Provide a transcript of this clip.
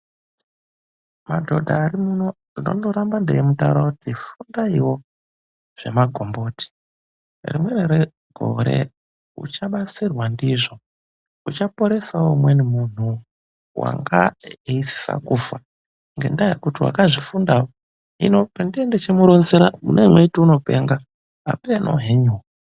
Madhodha arimuno ndinondoramba ndeimutaurira kuti fundaiwo zvemagomboti .Rimweni regore uchabatsirwa ndizvo ,uchaporesawo umweni muntu wanga eisisa kufa ngendaa yekuti wakazvifundawo .Hino pendinenge ndechimuronzera munenge mweiti unopenga ,apeeno henyuwo.